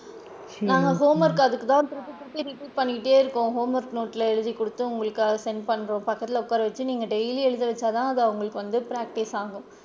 நாங்க homework அதுக்கு தான் திருப்பி திருப்பி repeat பண்ணிட்டே இருப்போம் அவுங்களுக்கு homework note ல எழுதி குடுத்து உங்களுக்கு அத send பண்றோம், பக்கத்துல உட்கார வச்சு நீங்க daily எழுத வச்சாதான் அது அவுங்களுக்கு practice சா ஆகும்.